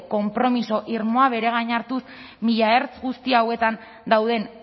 konpromiso irmoa bere gain hartuz mila ertz guzti hauetan dauden